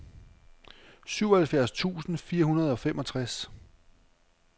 syvoghalvfjerds tusind fire hundrede og femogtres